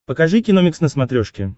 покажи киномикс на смотрешке